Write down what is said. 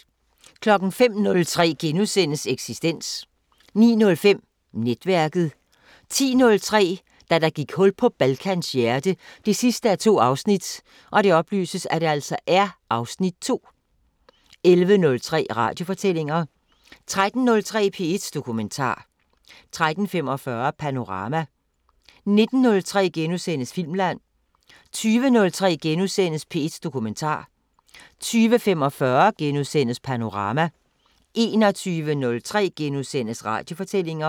05:03: Eksistens * 09:05: Netværket 10:03: Da der gik hul på Balkans hjerte 2:2 (Afs. 2) 11:03: Radiofortællinger 13:03: P1 Dokumentar 13:45: Panorama 19:03: Filmland * 20:03: P1 Dokumentar * 20:45: Panorama * 21:03: Radiofortællinger *